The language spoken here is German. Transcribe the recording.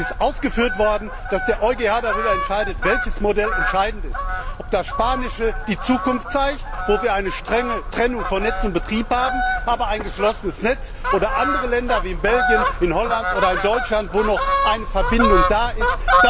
Es ist aufgeführt worden, dass der EuGH darüber entscheidet, welches Modell entscheidend ist, ob das spanische Modell die Zukunft zeigt, wo wir eine strenge Trennung von Netz und Betrieb haben, aber ein geschlossenes Netz, oder andere Länder wie Belgien, Holland oder Deutschland, wo noch eine Verbindung da ist.